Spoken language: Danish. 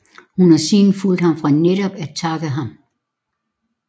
Hun har siden fulgt ham for netop at takke ham